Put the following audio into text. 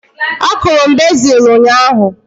A kụrụ m bezil ụnyaahụ